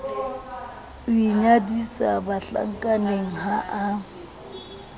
o inyadisa bahlankaneng ha a